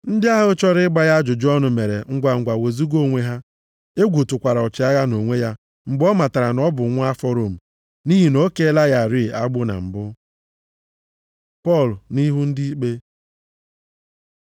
Ndị ahụ chọrọ ịgba ya ajụjụ ọnụ mere ngwangwa wezuga onwe ha. Egwu tụkwara ọchịagha nʼonwe ya mgbe ọ matara na ọ bụ nwa afọ Rom, nʼihi na o keela ya rịị agbụ na mbụ. Pọl nʼihu ndị ikpe